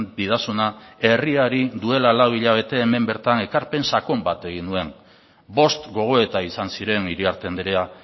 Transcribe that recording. didazuna herriari duela lau hilabete hemen bertan ekarpen sakon bat egin nuen bost gogoeta izan ziren iriarte andrea